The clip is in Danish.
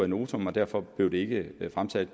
notam og derfor blev det ikke er fremsat